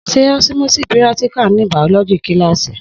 Sẹ òsímòsí píràtíkà ní bàọlọjí kílàsí?